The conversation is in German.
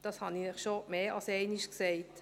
Das habe ich Ihnen schon mehr als einmal gesagt.